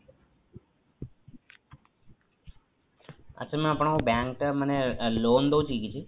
ଆଛା mam ଆପଣଙ୍କ bank ମାନେ loan ଦଉଚି କି କିଛି